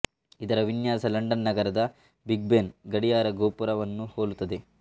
ಇದರ ವಿನ್ಯಾಸ ಲಂಡನ್ ನಗರದ ಬಿಗ್ ಬೆನ್ ಗಡಿಯಾರ ಗೋಪುರ ವನ್ನು ಹೋಲುತ್ತದೆ